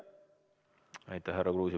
Aitäh, härra Kruusimäe!